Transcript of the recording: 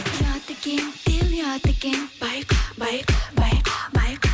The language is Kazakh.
ұят екен деу ұят екен байқа байқа байқа байқа